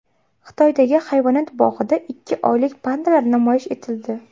Xitoydagi hayvonot bog‘ida ikki oylik pandalar namoyish etildi.